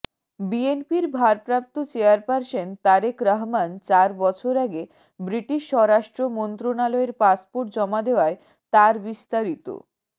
বিএনপির ভারপ্রাপ্ত চেয়ারপারসন তারেক রহমান চার বছর আগে ব্রিটিশ স্বরাষ্ট্র মন্ত্রণালয়ের পাসপোর্ট জমা দেয়ায় তারবিস্তারিত